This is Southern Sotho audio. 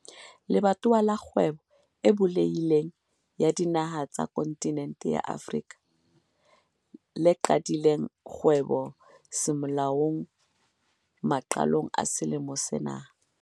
Le batowa la Kgwebo e Bulehi leng ya Dinaha tsa Kontinente ya Afrika, ACFTA, le qadileng kgwebo semolao maqalong a selemo sena.